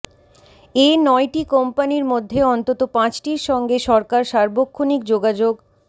এ নয়টি কোম্পানির মধ্যে অন্তত পাঁচটির সঙ্গে সরকার সার্বক্ষণিক যোগাযোগ